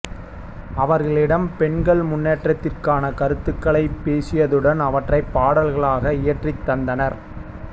அவர்களிடம் பெண்கள் முன்னேற்றத்திற்கான கருத்துகளைப் பேசியதுடன் அவற்றைப் பாடல்களாக இயற்றித் தந்தார்